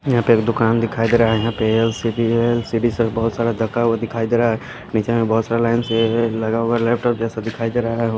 यहां पे एक दुकान दिखाई दे रहा है यहां पे एल_सी_डी एल_सी_डी सब बहुत सारा धका हुआ दिखाई दे रहा है नीचे में बहुत सारा लाइन से लगा हुआ लैपटॉप जैसा दिखाई दे रहा है।